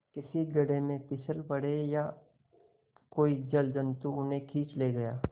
किसी गढ़े में फिसल पड़े या कोई जलजंतु उन्हें खींच ले गया